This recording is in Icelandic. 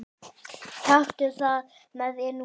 Taktu það með þér núna!